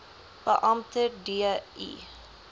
beampte d i